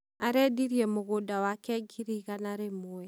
Aredirie mũgũnda wake ngiri igana rĩmwe.